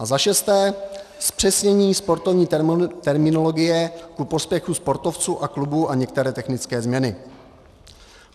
A za šesté, zpřesnění sportovní terminologie ku prospěchu sportovců a klubů a některé technické změny.